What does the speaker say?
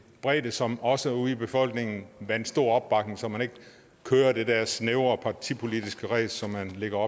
bredde som også ude i befolkningen vandt stor opbakning så man ikke kører det der snævre partipolitiske ræs som man lægger